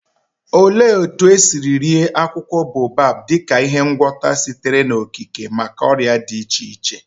Olee otú e si rie akwụkwọ baobab dị ka ihe ngwọta sitere n'okike maka ọrịa dị iche iche?